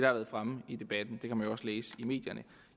har været fremme i debatten det kan man jo også læse i medierne